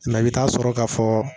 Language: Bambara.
i bɛ taa sɔrɔ ka fɔ